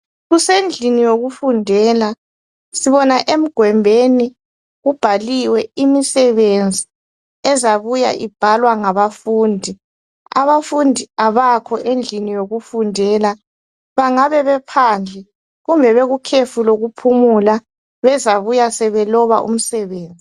Kusendlini yokufundela. Sibona emgwembeni, kubhaliwe imisebenzi ezabuya ibhalwa ngabafundi. Abafundi abakho endlini yokufundela. Bangabe bephandle, kumbe bekukhefu lokuphumula, bezabuya sebeloba umsebenzi.